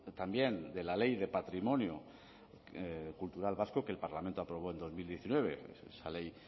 también de la ley de patrimonio cultural vasco que el parlamento aprobó en dos mil diecinueve esa ley